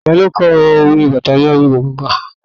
Ta ló kọ "Bàtà mi á dún koko kà"?